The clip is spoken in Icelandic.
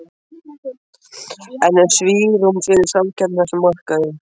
En er svigrúm fyrir samkeppni á þessum markaði?